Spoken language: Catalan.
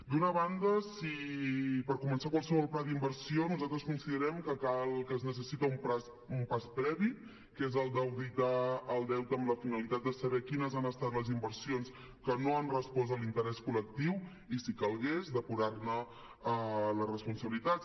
d’una banda per començar qualsevol pla d’inversió nosaltres considerem que es necessita un pas previ que és el d’auditar el deute amb la finalitat de saber quines han estat les inversions que no han respost a l’interès col·lectiu i si calgués depurar ne les responsabilitats